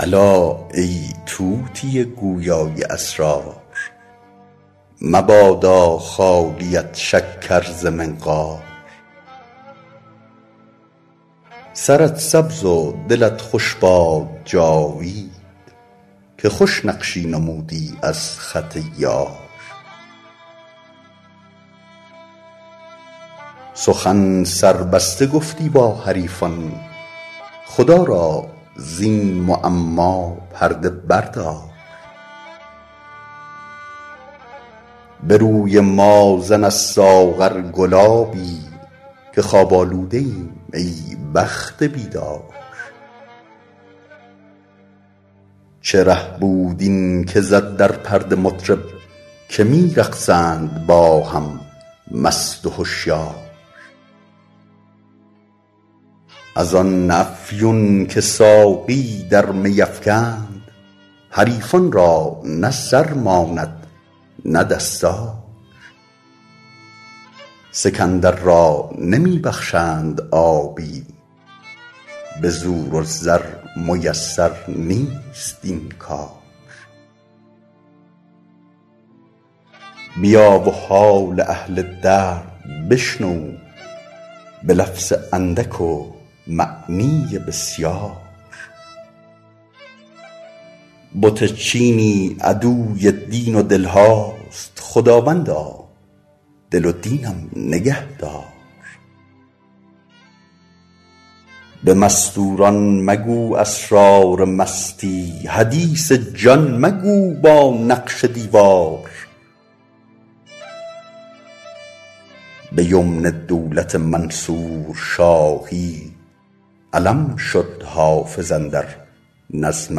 الا ای طوطی گویا ی اسرار مبادا خالیت شکر ز منقار سرت سبز و دلت خوش باد جاوید که خوش نقشی نمودی از خط یار سخن سربسته گفتی با حریفان خدا را زین معما پرده بردار به روی ما زن از ساغر گلابی که خواب آلوده ایم ای بخت بیدار چه ره بود این که زد در پرده مطرب که می رقصند با هم مست و هشیار از آن افیون که ساقی در می افکند حریفان را نه سر ماند نه دستار سکندر را نمی بخشند آبی به زور و زر میسر نیست این کار بیا و حال اهل درد بشنو به لفظ اندک و معنی بسیار بت چینی عدوی دین و دل هاست خداوندا دل و دینم نگه دار به مستور ان مگو اسرار مستی حدیث جان مگو با نقش دیوار به یمن دولت منصور شاهی علم شد حافظ اندر نظم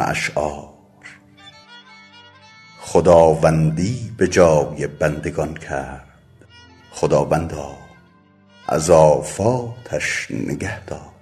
اشعار خداوندی به جای بندگان کرد خداوندا ز آفاتش نگه دار